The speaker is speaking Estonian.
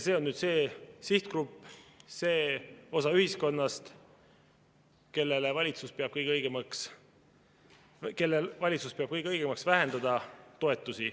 See on see sihtgrupp, see osa ühiskonnast, kelle toetusi valitsus peab kõige õigemaks vähendada.